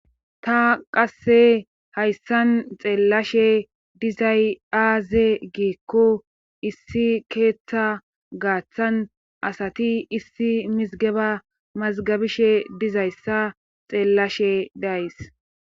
ta qasse hayssan xeellashe dizay aaze giikko issi keeththa gaaththan asati issi mizgeba mazgabishe dizayssa xeellashe dayys